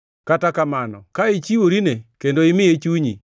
“Kata kamano ka ichiworine kendo imiye chunyi,